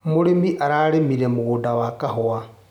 Mũrĩmi ararĩmire mũgũnda wa kahũa.